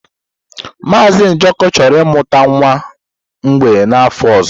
Mazị Njoku chọrọ ịmụta nwa mgbei n'afọ ọzọ.